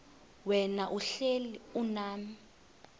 wena uhlel unam